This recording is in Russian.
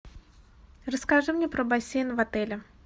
расскажи мне про бассейн в отеле